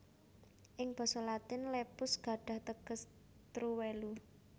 Ing basa Latin lepus gadhah teges truwelu